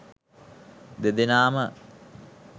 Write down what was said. දෙදෙනාම